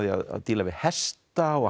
að díla við hesta og